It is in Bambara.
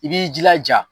I b'i jilaja